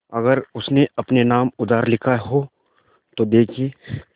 अगर उसने अपने नाम उधार लिखा हो तो देखिए